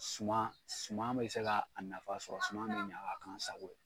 Suma suma bɛ se ka a nafa sɔrɔ suma bɛ ɲa ka k'an sago ye.